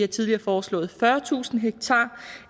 tidligere foreslået fyrretusind ha så